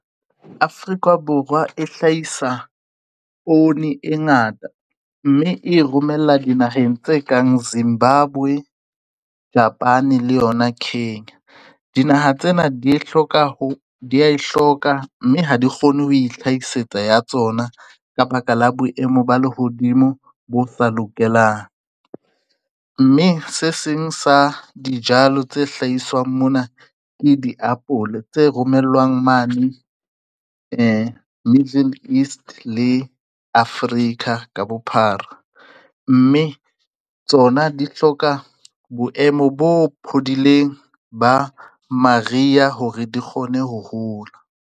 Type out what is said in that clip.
Afrika Borwa e hlahisa poone e ngata mme e romella dinaheng tse kang Zimbabwe, Japane le yona Khenya dinaha tsena di ya e hloka, mme ha di kgone ho ihlaisetsa ya tsona ka baka la boemo ba lehodimo bo sa lokelang, mme se seng sa dijalo tse hlahiswang mona ke diapole tse romellwang mane Middle East le Afrika ka bophara, mme tsona di hloka boemo bo phodileng ba maria hore di kgone ho hola.